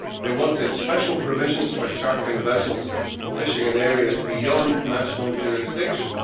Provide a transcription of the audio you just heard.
They wanted special provisions for chartering vessels fishing in areas beyond national jurisdiction.